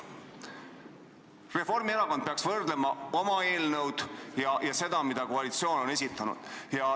Reformierakond peaks võrdlema oma eelnõu sellega, mille koalitsioon on esitanud.